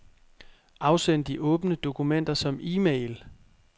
Afsend de åbne dokumenter som e-mail.